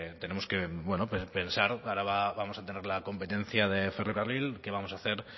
tenemos que pensar que ahora vamos a tener la competencia de ferrocarril qué vamos a hacer